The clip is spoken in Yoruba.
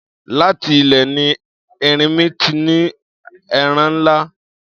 Láti ilẹ̀ ni erinmi ti ní ara ńlá.